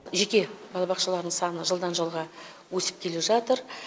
жеке балабақшалардың саны жылдан жылға өсіп келе жатыр